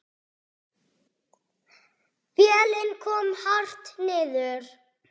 Vélin kom hart niður.